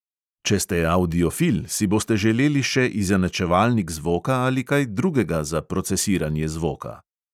Če ste avdiofil, si boste želeli še izenačevalnik zvoka ali kaj drugega za procesiranje zvoka.